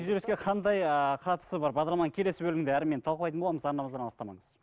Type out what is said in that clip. күйзеліске қандай ы қатысы бар бағдарламаның келесі бөлімінде әрмен талқылайтын боламыз арнамыздан алыстамаңыз